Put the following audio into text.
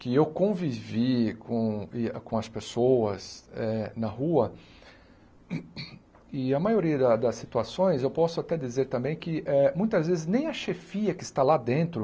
Que eu convivi com e a com as pessoas eh na rua e a maioria da das situações, eu posso até dizer também que eh muitas vezes nem a chefia que está lá dentro